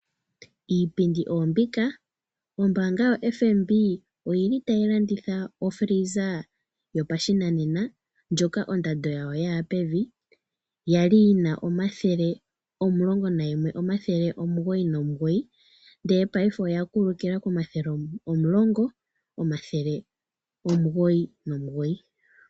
Iipindi oyo mbika. ombaanga yo FNB oyili tayi landitha ofiliza yopashinanena, ndjoka ondando yayo yaya pevi, yali yina omayovi omulongo nalimwe, omathele omugoyi nomilongo omugoyi nomugoyi, ndele paife oya kulukila komayovi omulongo, omathele omugoyi nomilongo omugoyi nomugoyi.